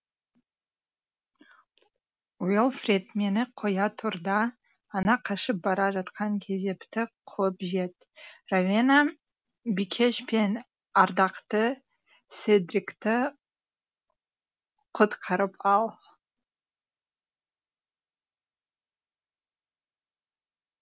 уелфред мені қоя тұр да ана қашып бара жатқан кезепті қуып жет ровена бикеш пен ардақты седрикті құтқарып ал